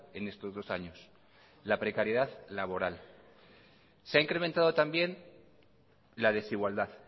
en estos dos años la precariedad laboral se ha incrementado también la desigualdad